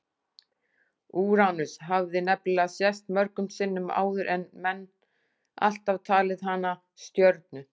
Úranus hafði nefnilega sést mörgum sinnum áður en menn alltaf talið hana stjörnu.